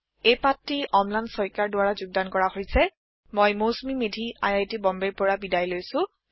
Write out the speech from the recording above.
এই পাঠটি অম্লান শইকীয়াৰ দ্বাৰা যোগদান কৰা হৈছে মই Mousumi Medhi I I T বম্বেৰ পৰা বিদায় লৈছো